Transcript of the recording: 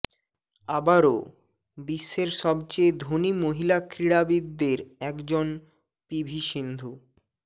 আবারও বিশ্বের সবচেয়ে ধনী মহিলা ক্রীড়াবিদদের একজন পিভি সিন্ধু